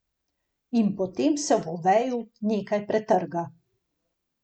In potem se v Oveju nekaj pretrga.